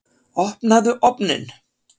Opnaðu ofninn!